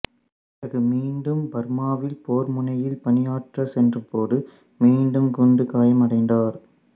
பிறகு மீண்டும் பர்மாவில் போர்முனையில் பணியாற்றச் சென்றபோது மீண்டும் குண்டுக் காயம் அடைந்தார்